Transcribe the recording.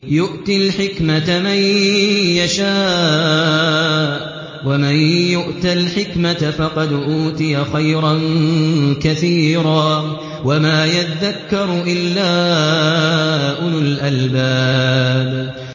يُؤْتِي الْحِكْمَةَ مَن يَشَاءُ ۚ وَمَن يُؤْتَ الْحِكْمَةَ فَقَدْ أُوتِيَ خَيْرًا كَثِيرًا ۗ وَمَا يَذَّكَّرُ إِلَّا أُولُو الْأَلْبَابِ